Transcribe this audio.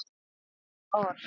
Hvaða orð?